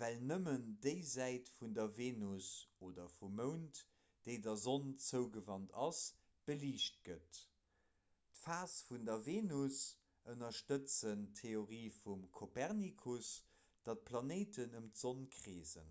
well nëmmen déi säit vun der venus oder vum mound déi der sonn zougewant ass beliicht gëtt. d'phase vun der venus ënnerstëtzen d'theorie vum kopernikus datt d'planéiten ëm d'sonn kreesen